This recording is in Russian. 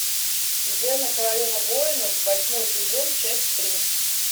зена королева воинов восьмой сезон часть три